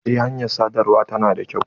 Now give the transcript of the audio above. Eh hanyar sadarwa ta na da kyau.